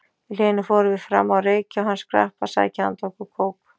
Í hléinu fórum við fram að reykja og hann skrapp að sækja handa okkur kók.